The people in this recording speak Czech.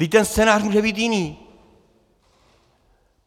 Vždyť ten scénář může být jiný.